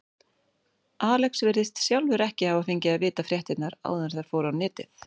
Sigurleif, kanntu að spila lagið „Þessir Menn“?